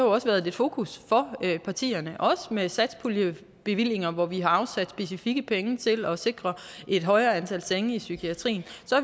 også været et fokus fra partierne også med satspuljebevillinger hvor vi har afsat specifikke penge til at sikre et højere antal senge i psykiatrien